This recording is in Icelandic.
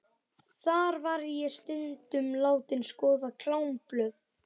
Þar var ég stundum látin skoða klámblöð.